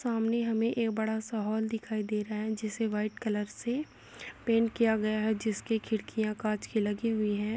सामने हमें एक बड़ा सा हॉल दिखाई दे रहा है जिसे वाइट कलर से पेंट किया गया है जिसकी खिड़कियाँ काँच की लगी हुई हैं।